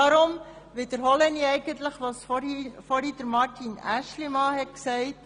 Ich wiederhole nun Grossrat Aeschlimann: